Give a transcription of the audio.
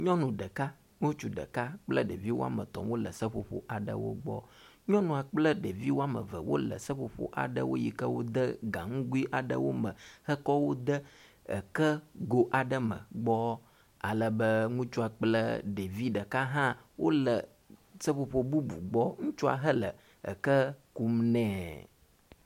Nyɔnu ɖeka ŋutsu ɖeka kple ɖevi wɔme etɔ̃ wo le seƒoƒo aɖewo gbɔ. Nyɔnua kple ɖevi wɔme eve wo le seƒoƒo aɖe si wode gaŋgui aɖewo me hekɔwo de eke go aɖe me gbɔ ale be ŋutsua kple ɖevi ɖeka aɖe hã wo le seƒoƒo bubu gbɔ ŋutsua hele eke kum nɛ.